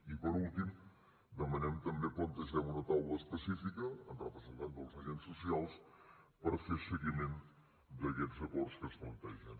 i per últim demanem també o plantegem una taula específica amb representants dels agents socials per fer seguiment d’aquests acords que es plantegen